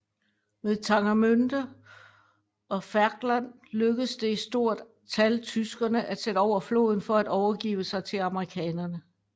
Ved Tangermünde og Ferchland lykkedes det i stort tal tyskerne at sætte over floden for at overgive sig til amerikanerne